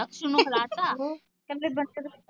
ਦਖਸੂ ਨੂੰ ਖਿਲਾਤਾ ਕਹਿੰਦੇ ਬੱਚੇ